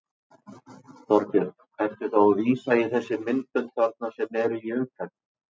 Þorbjörn: Ertu þá að vísa í þessi myndbönd þarna sem eru í umferð?